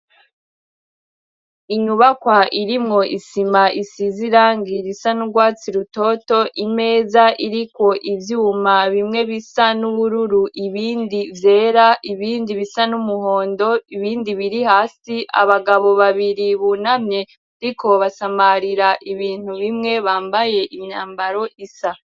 Inyubakwa irimwo isima isize irangi risa n'urwatsi rutoto, imeza iriko ivyuma bimwe bisa n'ubururu ibindi vyera, ibindi bisa n'umuhondo, ibindi biri hasi. Abagabo babiri bunamye bariko basamarira ibintu bimwe bambaye imyambaro isa.